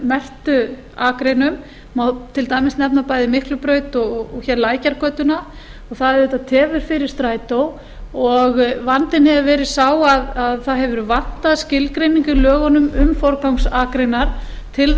merktu akreinum má til dæmis bæði nefna miklubraut og lækjargötu og það auðvitað tefur fyrir strætó vandinn hefur verið sá að það hefur vantað skilgreiningu í lögunum um forgangsakreinar til